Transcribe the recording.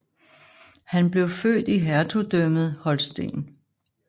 Han blev født i Hertugdømmet Holsten